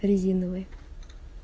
резиновый